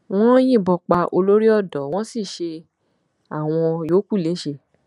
wọn yìnbọn pa olóríodò wọn sì ṣe àwọn yòókù léṣe